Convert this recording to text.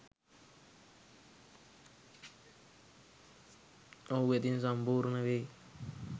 ඔහු වෙතින් සම්පූර්ණ වෙයි